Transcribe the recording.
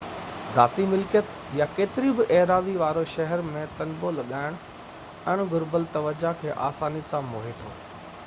ذاتي ملڪيت يا ڪيتري بہ ايراضي واري شهر ۾ تنبو لڳائڻ اڻ گهربل توجہ کي آساني سان موهي ٿو